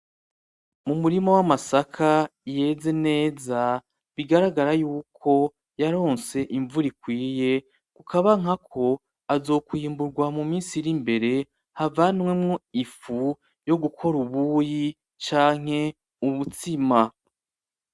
Umurima w’amasaka yeze neza bigaragara yuko yaronse imvura ikwiye ukabona ko azokwimburwa mu minsi iri imbere, havanwemwo ifu yo gukora ubuyi canke ubutsima.